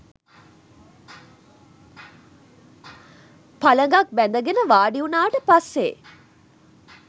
පළඟක් බැඳගෙන වාඩිවුණාට පස්සේ